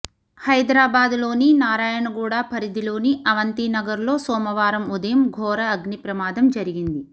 హైదరాబాద్ లోని నారాయణగూడ పరిధిలోని అవంతినగర్లో సోమవారం ఉదయం ఘోర అగ్ని ప్రమాదం జరిగింది